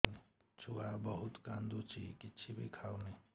ଛୁଆ ବହୁତ୍ କାନ୍ଦୁଚି କିଛିବି ଖାଉନି